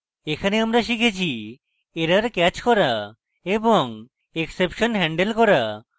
এখানে আমরা শিখেছি